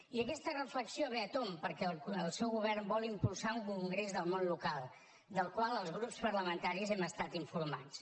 i aquesta reflexió ve a tomb perquè el seu govern vol impulsar un congrés del món local del qual els grups parlamentaris hem estat informats